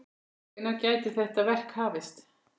Hvenær gæti þetta verk hafist?